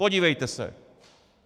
Podívejte se!